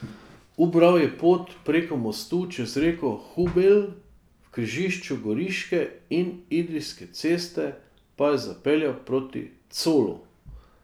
Ubral je pot preko mostu čez reko Hubelj, v križišču Goriške in Idrijske ceste pa je zapeljal proti Colu.